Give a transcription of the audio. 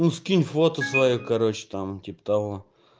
ну скинь фото своё короче там типа того